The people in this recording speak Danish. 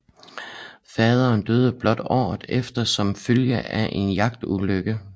Faderen døde blot året efter som følge af en jagtulykke